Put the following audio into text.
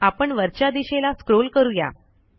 आपण वरच्या दिशेला स्क्रॉल करू या